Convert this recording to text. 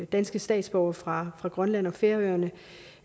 danske statsborgere fra fra grønland og færøerne